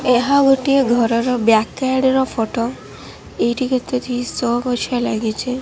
ଏହା ଗୋଟିଏ ଘର ବ୍ୟକ୍ ସାଇଡ ର ଫଟୋ ଏଠି କେତେଟି ଶୋ ଗଛ ଲାଗିଛି।